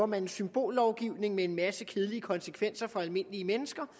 man en symbollovgivning med en masse kedelige konsekvenser for almindelige mennesker